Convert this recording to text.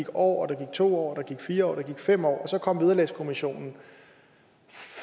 år der gik to år der gik fire år der gik fem år og så kom vederlagskommissionen